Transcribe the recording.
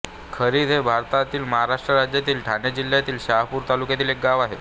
खारिद हे भारतातील महाराष्ट्र राज्यातील ठाणे जिल्ह्यातील शहापूर तालुक्यातील एक गाव आहे